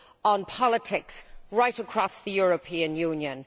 on politics right across the European Union.